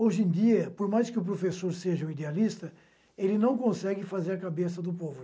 Hoje em dia, por mais que o professor seja o idealista, ele não consegue fazer a cabeça do povo.